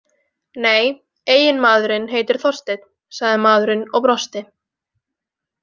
Nei, eiginmaðurinn heitir Þorsteinn, sagði maðurinn og brosti.